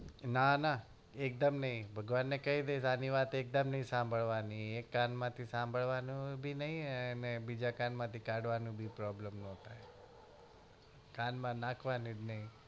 ના ના એક દમ નઈ ભગવાન ને કહી દઈસ આની વાત એક દમ સંભાળવાની નઈ એક કાન માંથી સંભાળવાની બી નઈ અને બીજા કાન માંથી કાડવાની problem બી નઈ કાન માં નાખવાની જ નહિ